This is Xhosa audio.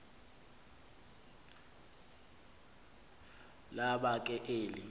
laba ke eli